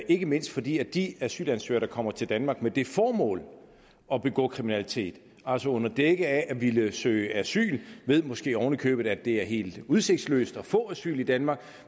ikke mindst fordi de asylansøgere der kommer til danmark med det formål at begå kriminalitet altså under dække af at ville søge asyl måske oven i købet ved at det er helt udsigtsløst at få asyl i danmark